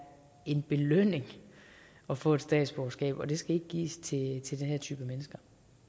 en belønning at få et statsborgerskab og det skal ikke gives til til den her type mennesker